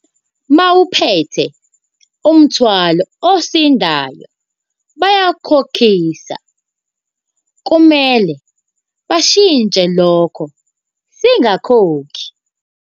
Uma uphethe umthwalo, osindayo bayakukhokhisa kumele bashintshe lokho singakhokhi.